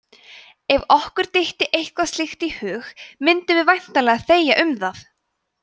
ef okkur dytti eitthvað slíkt í hug mundum við væntanlega þegja um það!